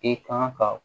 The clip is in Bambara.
I kan ka